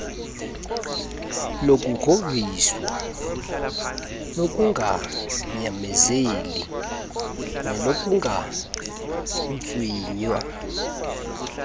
lokugrhogrhiswa lokunganyamezeli nelokuntswinywa